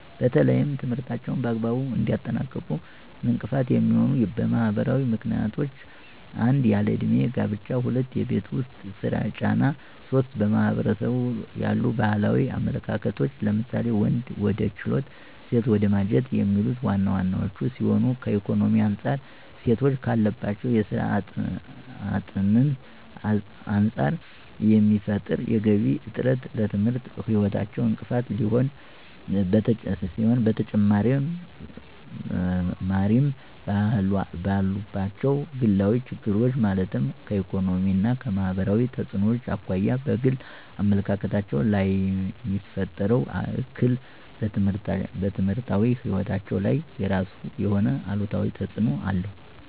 በተለይም ትምህርታቸውን በአግባቡ እንዳያጠናቅቁ እንቅፋት የሚሆኑ ማህበራዊ ምክንያቶች 1- ያለ እድሜ ጋብቻ 2- የቤት ውስጥ የስራ ጫና 3- በማህበረሰቡ ያሉ ባህላዊ አመለካከቶች ለምሳሌ:- ወንድ ወደ ችሎት ሴት ወደ ማጀት የሚሉት ዋና ዋናወቹ ሲሆኑ ከኢኮኖሚ አንፃር ሴቶች ካለባቸው የስራ አጥነት አንፃር የሚፈጠር የገቢ እጥረት ለትምህርት ህይወታቸው እንቅፋት ሲሆን በተጨማሪምባሉባቸው ግላዊ ችግሮች ማለትም ከኢኮኖሚያዊ እና ማህበራዊ ተፅዕኖዎች አኳያ በግል አመለካከታቸው ላይየሚፈጥረው እክል በትምህርታዊ ህይወታቸው ላይ የራሱ የሆነ አሉታዊ ተፅዕኖ አለው።